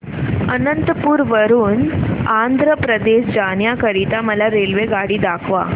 अनंतपुर वरून आंध्र प्रदेश जाण्या करीता मला रेल्वेगाडी दाखवा